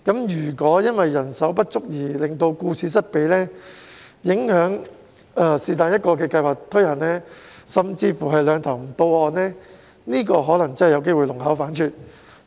如果因為人手不足而令到顧此失彼，影響其中一項計劃的推行，甚至是"兩頭唔到岸"，可能真的有機會弄巧反拙。